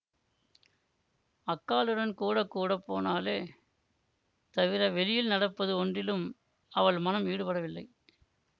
அக்காளுடன் கூட கூட போனாளே தவிர வெளியில் நடப்பது ஒன்றிலும் அவள் மனம் ஈடுபடவில்லை